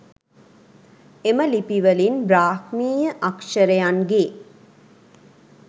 එම ලිපිවලින් බ්‍රාහ්මීය අක්ෂරයන්ගේ